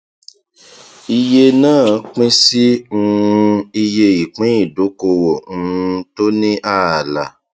iye náà pín sí um iye ìpín ìdókòwò um tó ní ààlà